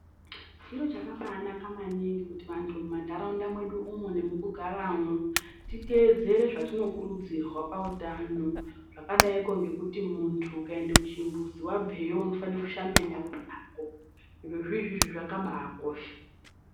Chiro chakabaanaka maningi kuti vantu mumantaraunda mwedu umu nemukugaramwo titeedzere zvetinokurudzirwa pautano zvakadaiko ngekuti munthu ukaenda kuchimbuzi wabveyo unofana kushambe nyara dzako, zvirozvizvi zvakabaakosha.